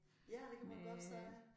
Ja det kan man godt sige